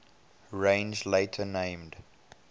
range later named